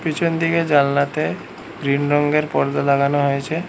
পিছন দিকে জানালাতে গ্রিন রঙ্গের পর্দা লাগানো হয়েছে।